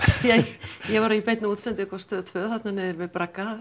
því ég var í beinni útsendingu á Stöð tveir þarna niðri við bragga